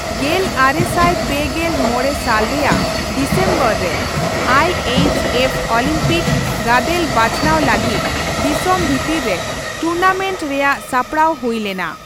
ᱜᱮᱞ ᱟᱨᱮ ᱥᱟᱭ ᱯᱮᱜᱮᱞ ᱢᱚᱲᱮ ᱥᱟᱞ ᱨᱮᱭᱟᱜ ᱰᱤᱥᱮᱢᱵᱚᱨ ᱨᱮ, ᱟᱭᱹ ᱮᱭᱤᱪᱹ ᱮᱯᱷ ᱚᱞᱤᱢᱯᱤᱠ ᱜᱟᱫᱮᱞ ᱵᱟᱪᱷᱟᱱᱟᱣ ᱞᱟᱹᱜᱤᱫ ᱫᱤᱥᱚᱢ ᱵᱷᱤᱛᱤᱨ ᱨᱮ ᱴᱩᱨᱱᱟᱢᱮᱱᱴ ᱨᱮᱭᱟᱜ ᱥᱟᱯᱲᱟᱣ ᱦᱩᱭ ᱞᱮᱱᱟ ᱾